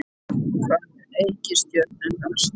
Hvað heita reikistjörnurnar?